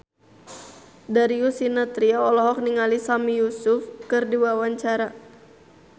Darius Sinathrya olohok ningali Sami Yusuf keur diwawancara